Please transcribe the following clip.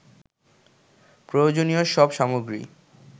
প্রয়োজনীয় সব সামগ্রী